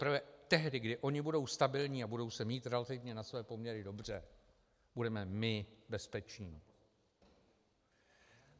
Teprve tehdy, kdy oni budou stabilní a budou se mít relativně na své poměry dobře, budeme my bezpeční.